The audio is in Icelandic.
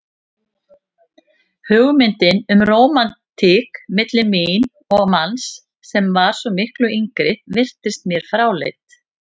Hugmyndin um rómantík milli mín og manns sem var svo miklu yngri virtist mér fráleit.